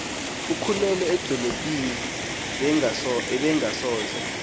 okhulele edolophini ebengasoze